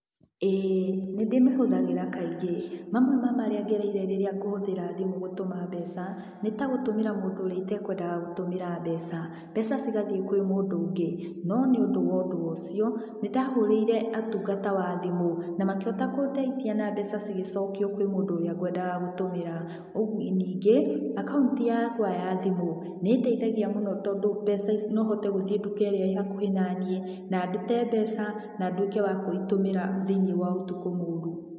Ĩĩ nĩndĩmĩhũthagĩra kaingĩ. Mamwe ma marĩa ngereire rĩrĩa ngũhũthĩra thimũ gũtũma mbeca, nĩ ta gũtũmĩra mũndũ ũrĩa itekwendaga gũtũmĩra mbeca, mbeca cigathiĩ kwĩ mũndũ ũngĩ, no nĩ ũndũ wa ũndũ ũcio, nĩndahũrĩire ũtungata wa thimũ na makĩhota kũndeithia na mbeca cigĩcokio kwĩ mũndũ ũrĩa gwendaga gũtũmĩra. Ningĩ, akaunti yakwa ya thimũ nĩĩndeithagia mũno tondũ mbeca ici, nohote gũthiĩ duka ĩrĩa ĩ hakuhĩ na niĩ na ndute mbeca na nduĩke wa kũitũmĩra thĩiniĩ wa ũtukũ mũru.